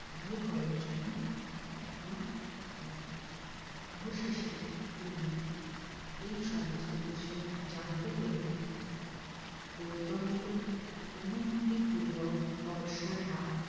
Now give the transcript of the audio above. বিয়ে করার জন্য একমত হয় অবশেষে তিনি এই সমস্ত কিছু জানতে পেরে গৌতমের অনুমতি পূর্বক বর্ষার হাত